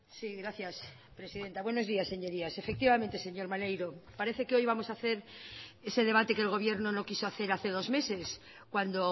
si gracias presidenta buenos días señorías efectivamente señor maneiro parece que hoy vamos ha hacer ese debate que el gobierno no quiso hacer hace dos meses cuando